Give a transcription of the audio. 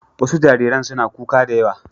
Wasu jariran suna kuka da yawa.